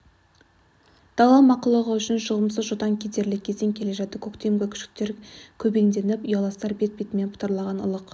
дала мақұлығы үшін жұғымсыз жұтаң кедерлі кезең келе жатты көктемгі күшіктер көбеңденіп ұяластар бет-бетімен бытыраған ылық